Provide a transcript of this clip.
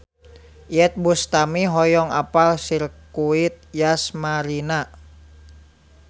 Iyeth Bustami hoyong apal Sirkuit Yas Marina